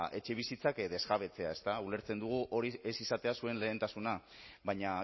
etxebizitzak desjabetzea ulertzen dugu ez izatea zuen lehentasuna baina